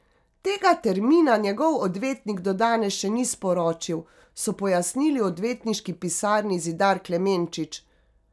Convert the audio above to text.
Tega termina njegov odvetnik do danes še ni sporočil, so pojasnili v odvetniški pisarni Zidar Klemenčič.